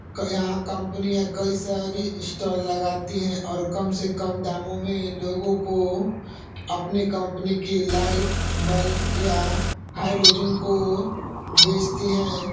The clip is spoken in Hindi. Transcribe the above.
यहाँ कंपनियाँ कई सारी स्टॉल लगाती हैं और कम से कम दामों में लोगों को अपनी कंपनी की लाइट बल्फ या हैलोजन को बेचती हैं।